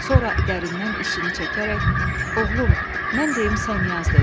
Sonra dərindən içini çəkərək, oğlum, mən deyim sən yaz dedi.